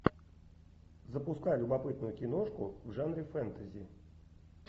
запускай любопытную киношку в жанре фэнтези